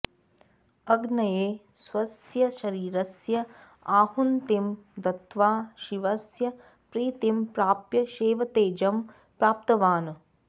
अग्नये स्वस्य शरीरस्य आहुतिं दत्त्वा शिवस्य प्रीतिं प्राप्य शैवतेजं प्राप्तवान्